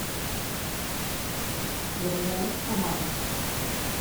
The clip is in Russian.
герлен помада